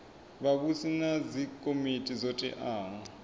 vhavhusi na dzikomiti dzo teaho